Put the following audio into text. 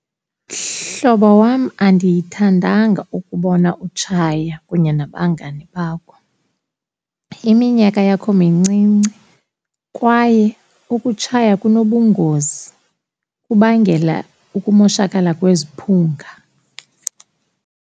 Mhlobo wam, andiyithandanga ukubona utshaya kunye nabangani bakho. Iminyaka yakho mincinci kwaye ukutshaya kunobungozi, kubangela ukumoshakala kweziphunga.